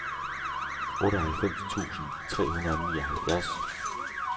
otteoghalvfems tusind tre hundrede og nioghalvfjerds